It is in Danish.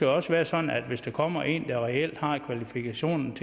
også være sådan at hvis der kommer en der reelt har kvalifikationerne